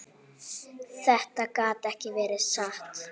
Þetta gat ekki verið satt.